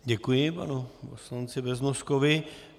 Děkuji panu poslanci Beznoskovi.